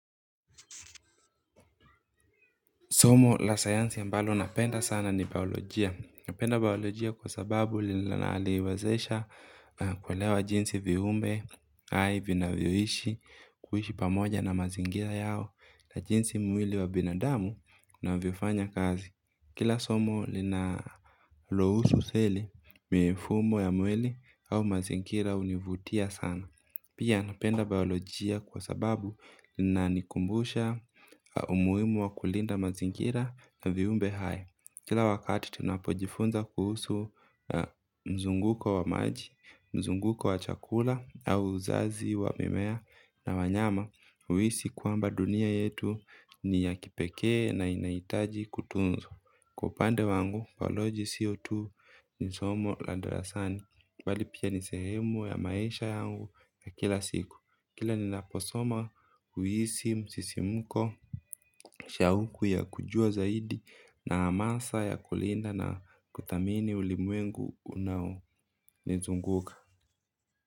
Somo la sayansi ambalo napenda sana ni biolojia. Napenda biolojia kwa sababu linaniwezesha kuelewa jinsi viumbe. Hai vinavyoishi kuhishi pamoja na mazingira yao na jinsi mwili wa binadamu unavyofanya kazi. Kila somo linalohusu seli, mifumo ya mwili au mazingira hunivutia sana. Pia napenda biolojia kwa sababu inanikumbusha umuhimu wa kulinda mazingira na viumbe hai. Kila wakati tunapojifunza kuhusu mzunguko wa maji, mzunguko wa chakula au uzazi wa mimea na wanyama. Uhisi kwamba dunia yetu ni ya kipekee na inahitaji kutunzwa. Kwa upande wangu bioloji siyo tu nisomo la darasani bali pia nisehemu ya maisha yangu ya kila siku kila ninaposoma huisi msisimuko shauku ya kujua zaidi na hamasa ya kulinda na kuthamini ulimwengu unao nizunguka.